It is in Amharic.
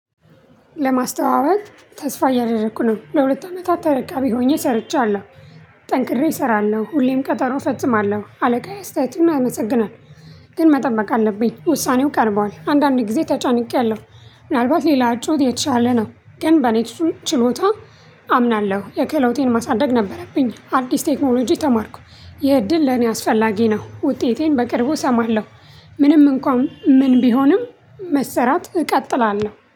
ለማስተዋወቅ ተስፋ እያደረኩ ነው ለሁለት አመታት ተረካቢ ሆኜ ሰርቻለሁ። ጠንቅሬ እሰራለሁ ሁሌም ቀጠሮ እፈጽማለሁ አለቃዬ አስተያየቱን አመሰግናለሁ። ግን መጠበቅ አለብኝ ውሳኔው ቀርቧል። አንዳንዴ ጊዜ ተጨንቄያለሁ። ምናልባት ሌላ ጩኸት የቻለ ነው። ግን በኔትሱም ችሎታ አምናለሁ የከለወጤን ማሳደግ ነበረብኝ አዲስ ቴክኖሎጂ ተማርኩ። የእድል ለኔ አስፈላጊ ነው። ውጤቴን በቅርቡ እሰማለሁ። ምንም እንኳን ምን ቢሆንም መሰራት እቀጥላለሁ